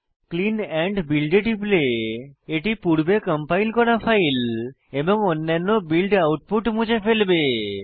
clean and build এ টিপলে এটি পূর্বে কম্পাইল করা ফাইল এবং অন্যান্য বিল্ড আউটপুট মুছে ফেলবে